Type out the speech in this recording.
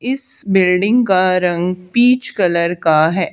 इस बिल्डिंग का रंग पीच कलर का है।